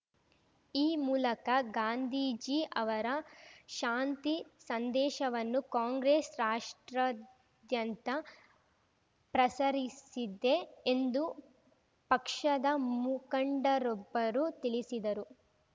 ಈ ಮೂಲಕ ಗಾಂಧೀಜಿ ಅವರ ಶಾಂತಿ ಸಂದೇಶವನ್ನು ಕಾಂಗ್ರೆಸ್‌ ರಾಷ್ಟ್ರಾದ್ಯಂತ ಪ್ರಸರಿಸಿದ್ದೆ ಎಂದು ಪಕ್ಷದ ಮುಖಂಡರೊಬ್ಬರು ತಿಳಿಸಿದರು